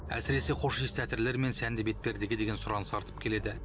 әсіресе хош иісті әтірлер мен сәнді бетпердеге деген сұраныс артып келеді